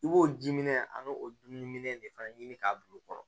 I b'o ji minɛ an b'o dumuni de fana ɲini k'a bila o kɔrɔ